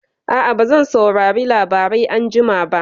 A'a, bazan saurari labarai anjima ba.